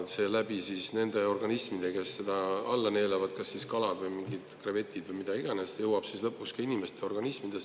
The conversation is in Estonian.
See jõuab nende organismi, kes seda alla neelavad – kalad, krevetid või mis iganes –, ja nende kaudu lõpuks ka inimeste organismi.